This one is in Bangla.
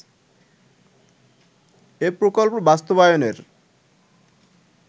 এ প্রকল্প বাস্তবায়নের